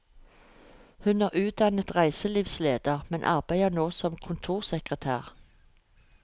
Hun er utdannet reiselivsleder, men arbeider nå som kontorsekretær.